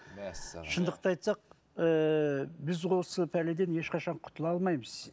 шындықты айтсақ ііі біз осы пәледен ешқашан құтыла алмаймыз